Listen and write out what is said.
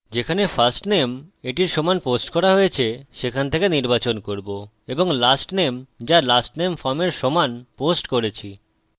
যেখানে firstname এটির সমান পোস্ট করা হয়েছে সেখান থেকে নির্বাচন করব এবং lastname যা lastname form এর সমান পোস্ট করেছি